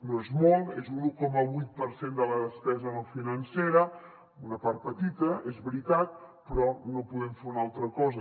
no és molt és un un coma vuit per cent de la despesa no financera una part petita és veritat però no podem fer una altra cosa